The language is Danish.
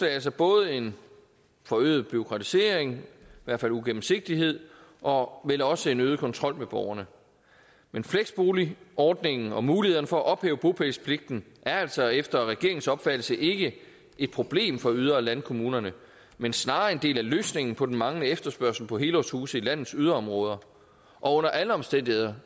altså både en forøget bureaukratisering i hvert fald uigennemsigtighed og vel også en øget kontrol med borgerne men fleksboligordningen og mulighederne for at ophæve bopælspligten er altså efter regeringens opfattelse ikke et problem for yder og landkommunerne men snarere en del af løsningen på den manglende efterspørgsel på helårshuse i landets yderområder og under alle omstændigheder